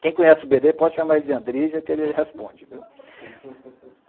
Quem conhece o bê dê pode chamar ele de Andrija, que ele responde. (risadas_